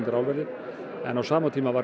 álverði en á sama tíma var